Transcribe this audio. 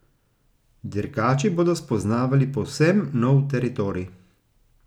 Dirkači bodo spoznavali povsem nov teritorij.